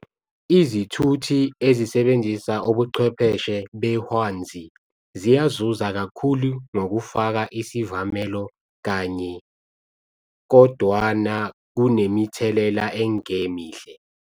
Izithuthi ezisebenzia ubuchwepheshe behwanzi ziyazuza kakhulu ngokufaka isivamelo kanye, kodwana kunemithelela engemihle.